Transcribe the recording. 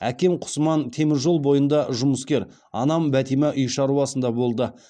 әкем құсман темір жол бойында жұмыскер анам бәтима үй шаруасында болды